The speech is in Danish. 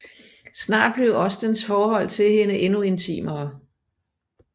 Snart blev Ostens forhold til hende endnu intimere